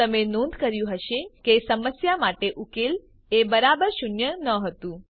તમે નોંધ કર્યું હશે કે સમસ્યા માટે ઉકેલ એ બરાબર શૂન્ય ન હતું